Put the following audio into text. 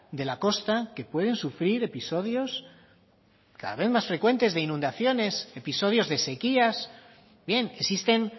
de la costa que pueden sufrir episodios cada vez más frecuentes de inundaciones episodios de sequías bien existen